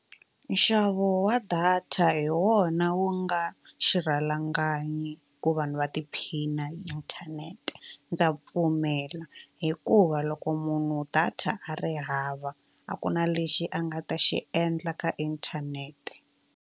Nxavo wa data hi wona wu nga xirhalanganyi ku vanhu va tiphina hi inthanete ndza pfumela hikuva loko munhu data a ri hava a ku na lexi a nga ta xi endla ka inthanete.